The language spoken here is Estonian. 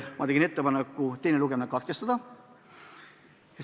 Ma tegin ettepaneku teine lugemine katkestada.